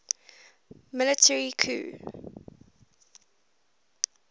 military coup